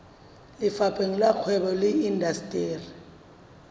lefapheng la kgwebo le indasteri